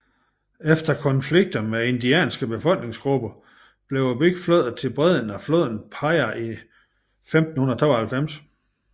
Efter konflikter med indianske befolkningsgrupper blev byen flyttet til bredden af floden Piraí i 1592